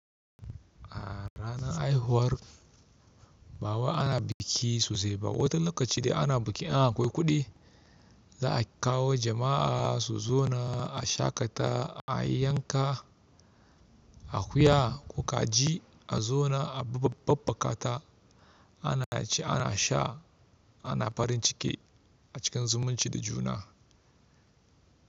A ranar haihuwar, ba wai ana biki sosai ba wata lokaci dai ana biki in akwai kuɗi, za a kawo jama'a su zauna a shaƙata, ayi yanka akuya ko kaji a zauna a babbaka ta. Ana ci, ana sha, ana farin ciki a cikin zumunci da juna.